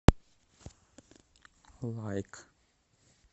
лайк